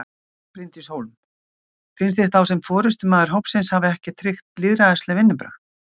Bryndís Hólm: Finnst þér þá sem forystumaður hópsins hafi ekki tryggt lýðræðisleg vinnubrögð?